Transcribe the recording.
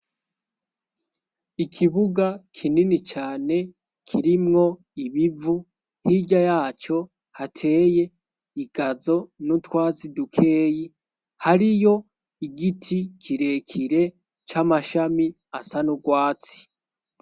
ikibuga kinini cane kirimwo ibivu hirya yacyo hateye igazo n'utwazidukeyi hariyo igiti kirekire c'amashami asa n'ubwatsi